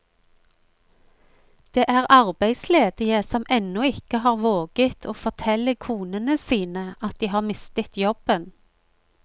Det er arbeidsledige som ennå ikke har våget å fortelle konene sine at de har mistet jobben.